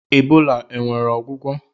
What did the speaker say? Ebola o nwere ọgwụgwọ?